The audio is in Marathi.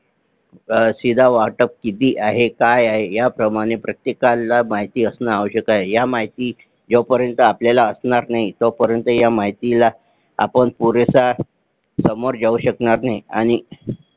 शीदा वाटप किती आहे काय आहे ह्या प्रमाणे प्रत्येकाला माहिती असणे आवश्यक आहे ह्या माहिती जोपर्यंत आपल्याला असणार नाही तो पर्यंत ह्या माहितीला आपण पुरेसा सामोर जाऊ शकणार नाही आणि